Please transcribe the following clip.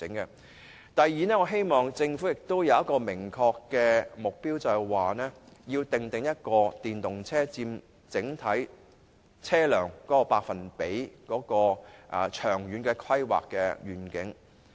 此外，我希望政府訂定明確的目標，說明電動車在整體車輛中所佔的百分比是多少，以便設定長遠的規劃願景。